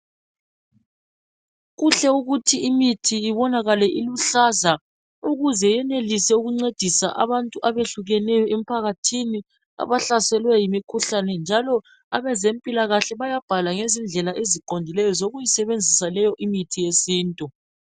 Kuhle ukuthi imithi ibonakale iluhlaza ukuze yenelise ukuncedisa abantu abehlukeneyo emphakathini abahlaselwe yikhuhlane njalo abezempilakahle bayabhala ngezindlela eziqondileyo zokuyisebenzisa leyo imithi yesintu